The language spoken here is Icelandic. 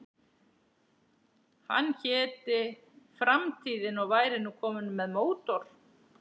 Hann héti Framtíðin og væri nú kominn með mótor.